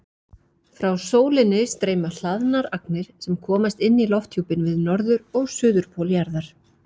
Frá sólinni streyma hlaðnar agnir sem komast inn í lofthjúpinn við norður- og suðurpól jarðar.